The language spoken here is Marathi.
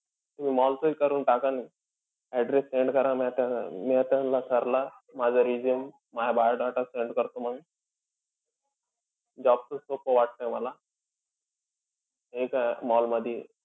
Mall चं करून टाका न. Adress send करा नायतर मी त्यान्ला sir ला माझं resume माझं biodata send करतो मंग. Job च सोपं वाटतंय मला. हे काय mall मधी